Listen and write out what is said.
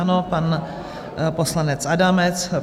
Ano, pan poslanec Adamec.